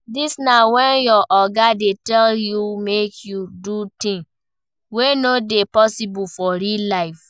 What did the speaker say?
Dis na when your oga dey tell you make you do things wey no dey possible for real life